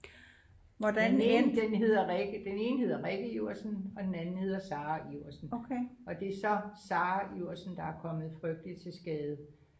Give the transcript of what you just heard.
den ene den hedder den ene hedder Rikke Iversen og den anden hedder Sarah Iversen og det er så Sarah Iversen der er kommet frygteliigt til skade